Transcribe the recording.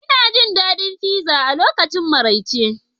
Ina jin daɗin pizza a lokacin maraice